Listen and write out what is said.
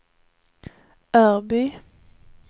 Örby